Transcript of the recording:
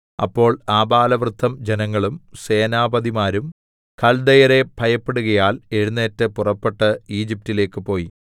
അപ്പോൾ ആബാലവൃദ്ധം ജനങ്ങളും സേനാപതിമാരും കൽദയരെ ഭയപ്പെടുകയാൽ എഴുന്നേറ്റ് പുറപ്പെട്ട് ഈജിപ്റ്റിലേക്ക് പോയി